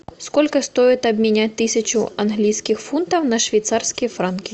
сколько стоит обменять тысячу английских фунтов на швейцарские франки